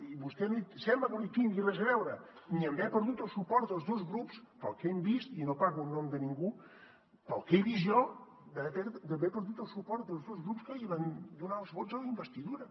i vostè sembla que no hi tingui res a veure ni en haver perdut el suport dels dos grups pel que hem vist i no parlo en nom de ningú pel que he vist jo d’haver perdut el suport dels dos grups que li van donar els vots en la investidura